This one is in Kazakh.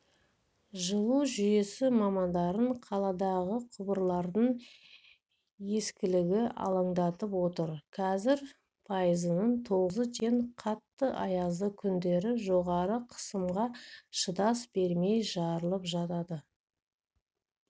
жылу жүйесі мамандарын қаладағы құбырлардың ескілігі алаңдатып отыр қазір пайызының тозығы жеткен қатты аязды күндері жоғары қысымға шыдас бермей жарылып жатады